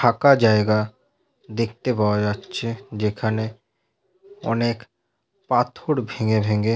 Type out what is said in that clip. ফাঁকা জায়গা দেখতে পাওয়া যাচ্ছে যেখানে অনেক পাথর ভেঙে ভেঙে --